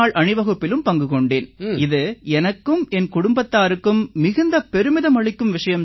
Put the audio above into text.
அணிவகுப்பிலும் பங்கு கொண்டேன் இது எனக்கும் என் குடும்பத்தாருக்கும் மிகுந்த பெருமிதம் அளிக்கும் விஷயம்